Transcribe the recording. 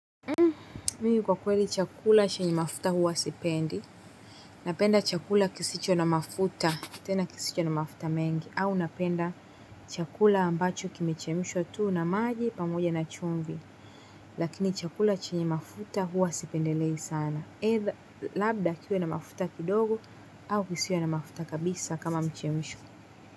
Mim kwa kweli chakula chenye mafuta huwa sipendi. Napenda chakula kisicho na mafuta. Tena kisicho na mafuta mengi au napenda chakula ambacho kimechemshwa tu na maji pamoja na chumvi lakini chakula chenye mafuta huwa sipendelei sana. Aidha labda kiwe na mafuta kidogo au kisiwe na mafuta kabisa kama mchemsho.